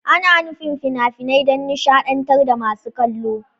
Ana nufin fina-finai don nishadantar da masu kallo.